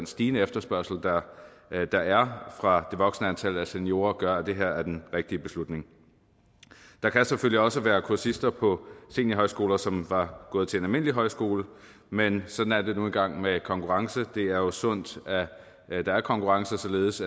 stigende efterspørgsel der er fra det voksende antal af seniorer gør at det her er den rigtige beslutning der kan selvfølgelig også være kursister på seniorhøjskoler som var gået til en almindelig højskole men sådan er det nu engang med konkurrence det er jo sundt at der er konkurrence således